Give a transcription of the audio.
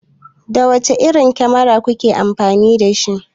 Da wace irin kamera kuke amfani?